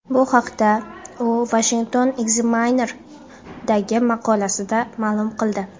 Bu haqda u Washington Examiner’dagi maqolasida ma’lum qildi .